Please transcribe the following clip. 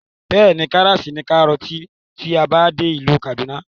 Bẹ́ẹ̀ni, karas ní kárọ̀ọ̀tì tí a bá dé ìlú kàdúná